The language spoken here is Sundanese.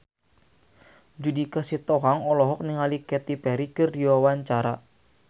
Judika Sitohang olohok ningali Katy Perry keur diwawancara